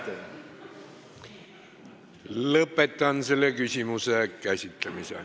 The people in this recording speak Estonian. Lõpetan selle küsimuse käsitlemise.